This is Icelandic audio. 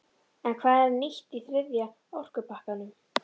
En hvað er nýtt í þriðja orkupakkanum?